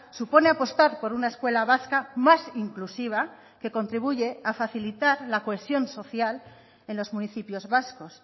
supone apostar por una escuela vasca más inclusiva que contribuye a facilitar la cohesión social en los municipios vascos